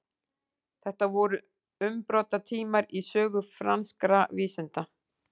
Þetta voru umbrotatímar í sögu franskra vísinda.